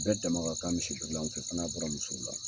Bɛɛ dama ka k'an misi birilanw fɛ, fo n'a bɔra musow la.